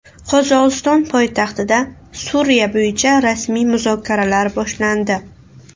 Qozog‘iston poytaxtida Suriya bo‘yicha rasmiy muzokaralar boshlandi .